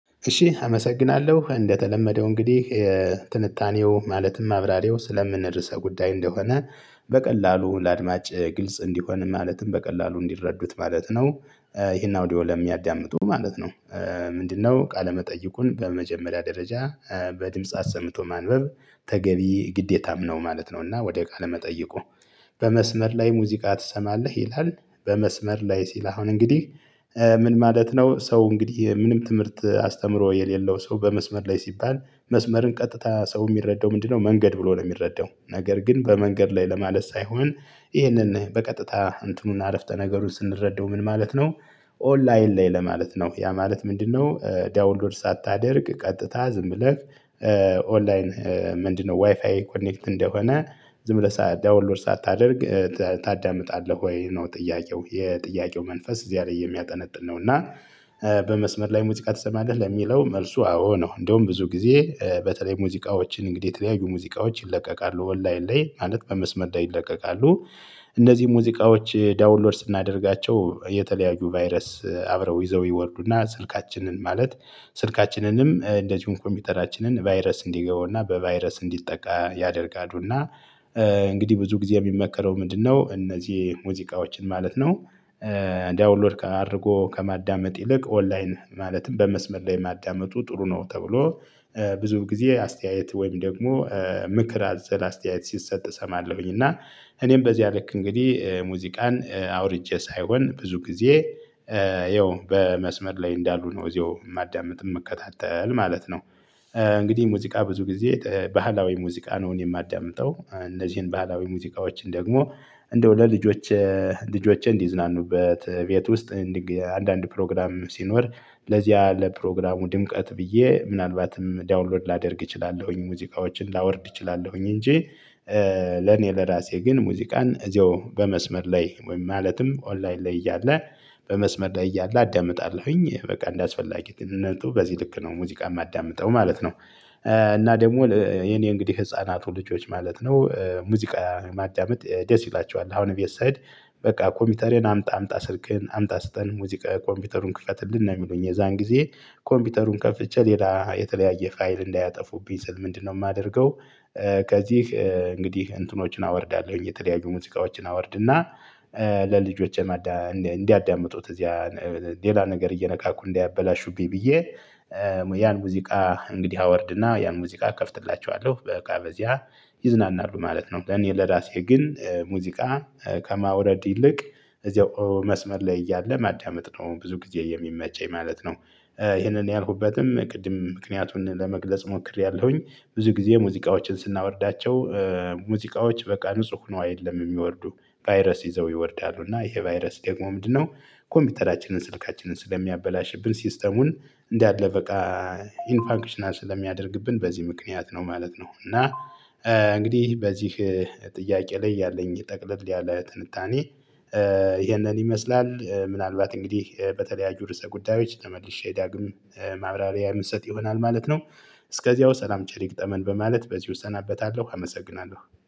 እሺ አመሰግናለሁ እንደተለመደው እንግዲህ ትንታኔው ማለትም ማብራሪው ስለምን ርዕሰ ጉዳይ እንደሆነ በቀላሉ ለአድማጭ ግልጽ እንዲሆን ማለትም በቀላሉ እንዲረዱት ማለት ነው። ይሄን አውዲዮ ለሚያዳምጡ ማለት ነው። ምንድነው? ቃለ መጠይቁን በመጀመሪያ ደረጃ። በድምጽ አሰምቶ ማንበብ ተገቢ ግዴታም ነው ማለት ነው። እና ወደ ቃለ መጠይቁ በመስመር ላይ ሙዚቃ ትሰማለህ ይላል። በመስመር ላይ ሲል አሁን እንግዲህ። ምን ማለት ነው? ሰው እንግዲህ ምንም ትምህርት አስተምሮ የሌለው ሰው በመስመር ላይ ሲባል መስመርን ቀጥታ ሰው የሚረዳው ምንድነው? መንገድ ብሎ ነው የሚረዳው ነገር ግን በመንገድ ላይ ለማለት ሳይሆን። ይህንን በቀጥታ እንትኑና አረፍተ ነገሩን ስንረዳው ምን ማለት ነው? ኦንላይን ላይ ለማለት ነው ያ ማለት ምንድነው? ዳውን ሎድ ሳታደርግ ቀጥታ ዝም ብለህ። ኦንላይን ምንድነው? ዋይፋይ ኮኔክት እንደሆነ ዝም ብለህ ዳውን ሎድ ሳታደርግ ታዳምጣለህ ወይ ነው ጥያቄው የጥያቄው መንፈስ እዚያ ላይ የሚያጠነጥን ነው። እና። በመስመር ላይ ሙዚቃ ትሰማለህ ለሚለው መልሱ አዎ ነው እንደውም ብዙ ጊዜ በተለይ ሙዚቃዎችን እንግዲህ የተለያዩ ሙዚቃዎች ይለቀቃሉ ኦንላይን ላይ ማለት በመስመር ላይ ይለቀቃሉ። እነዚህ ሙዚቃዎች ዳውን ሎድ ስናደርጋቸው የተለያዩ ቫይረስ አብረው ይዘው ይወልዱና ስልካችንን ማለት ስልካችንንም እንደዚሁም ኮምፒውተራችንን ቫይረስ እንዲገቡና በቫይረስ እንዲጠቃ ያደርጋሉ። እና እንግዲህ ብዙ ጊዜ የሚመከረው ምንድነው? እነዚህ ሙዚቃዎችን ማለት ነው። ዳውን ሎድ አድርጎ ከማዳመጥ ይልቅ ኦንላይን ማለትም በመስመር ላይ ማዳመጡ ጥሩ ነው። ተብሎ ብዙ ጊዜ አስተያየት ወይም ደግሞ ምክር አዘላ አስተያየት ሲሰጥ እሰማለሁኝ። እና እኔም በዚያ ልክ እንግዲህ ሙዚቃን አውርጄ ሳይሆን ብዙ ጊዜ። ይኸው በመስመር ላይ እንዳሉ ነው እዚሁ ማዳመጥ የምከታተል ማለት ነው። እንግዲህ ሙዚቃ ብዙ ጊዜ ባህላዊ ሙዚቃ ነው የማዳምጠው። እነዚህን በህላዊ ሙዚቃዎችን ደግሞ እንደው ለልጆች ልጆችን እንድዝናኑበት ቤት ውስጥ አንዳንድ ፕሮግራም ሲኖር ለዚያ ለፕሮግራሙ ድምቀት ብዬ ምናልባትም ዳውን ሎድ ላደርግ እችላለሁኝ። ሙዚቃዎችን ላወርድ እችላለሁኝ እንጂ። ለኔ ለራሴ ግን ሙዚቃን እዚያው በመስመር ላይ ወይም ማለትም ኦንላይን ላይ እያለ በመስመር ላይ እያለ አዳምጣለሁኝ በቃ እንደ አስፈላጊነቱ በዚህ ልክ ነው ሙዚቃ ማዳምጠው ማለት ነው። እና ደግሞ የኔ እንግዲህ ህፃናቱ ልጆች ማለት ነው ሙዚቃ ማዳመጥ ደስ ይላቸዋል አሁን ቤት ስሄድ። በቃ ኮምፒውተሪን አምጣ አምጣ ስልክህን አምጣ ስጠን ሙዚቃ ኮምፒውተሩን ክፈት ነው የምሉኝ የዛን ጊዜ ኮምፒውተሩን ከፍቼ ሌላ የተለያየ ፋይል እንዳያጠፉብኝ ስል ምንድነው የማደርገው? ከዚህ እንግዲህ እንትኖችን አወርዳለሁኝ የተለያዩ ሙዚቃዎችን አወርድና። ለልጆችን እንዲያዳምጡት እዚያ ሌላ ነገር እየነካኩ እንዳያበላሹብኝ ብዬ። ያን ሙዚቃ እንግዲህ አወርድና ያን ሙዚቃ እከፍትላቸዋለሁ በቃ በዚያ ይዝናናሉ ማለት ነው። ለኔ ለራሴ ግን ሙዚቃ ከማውረድ ይልቅ እዚያው መስመር ላይ እያለ ማዳመጥ ነው ብዙ ጊዜ የሚመቸኝ ማለት ነው። ይሄንን ያልኩበትም ቅድም ምክንያቱን ለመግለጽ ሞክሬያለሁኝ። ብዙ ጊዜ ሙዚቃዎችን ስናወርዳቸው። ሙዚቃዎች በቃ ንጹህ ሆኖ አይደለም የሚወርዱ። ቫይረስ ይዘው ይወርዳሉ እና ይሄ ቫይረስ ደግሞ ምንድነው? ኮምፒውተራችንን ስልካችንን ስለሚያበላሽብን ሲስተሙን እንዳለ በቃ ኢንፋንክሽናል ስለሚያደርግብን በዚህ ምክንያት ነው ማለት ነው። እና። እንግዲህ በዚህ ጥያቄ ላይ ያለኝ ጠቅለል ያለ ትንታኔ። ይሄንን ይመስላል ምናልባት እንግዲህ በተለያዩ ርዕሰ ጉዳዮች ተመልሼ ዳግም ማብራሪያ ምሰጥ ይሆናል ማለት ነው። እስከዚያው ሰላም ቸር ይግጠመን በማለት በዚህ እሰናበታለሁ አመሰግናለሁ